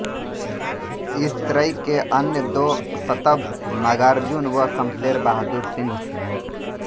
इस त्रयी के अन्य दो सतंभ नागार्जुन व शमशेर बहादुर सिंह थे